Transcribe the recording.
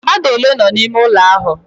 Mmadu ole no n'ime ulo ahu?